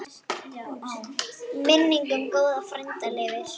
Minning um góðan frænda lifir.